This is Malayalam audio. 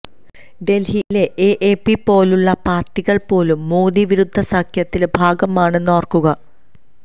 ഡൽഹിയിലെ എഎപി പോലുള്ള പാർട്ടികൾ പോലും മോദി വിരുദ്ധ സഖ്യത്തിന്റെ ഭാഗമാണെന്ന് ഓർക്കുക